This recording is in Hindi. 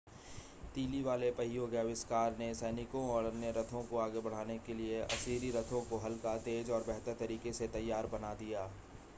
तीली वाले पहियों के आविष्कार ने सैनिकों और अन्य रथों को आगे बढ़ाने के लिए असीरी रथों को हल्का तेज और बेहतर तरीके से तैयार बना दिया